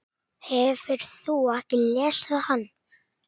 Hefurðu ekki lesið hann?